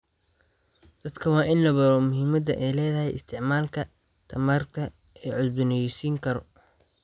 Dadka waa in la baro muhiimadda ay leedahay isticmaalka tamarta la cusboonaysiin karo.